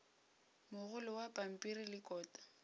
mogolo wa pampiri le kota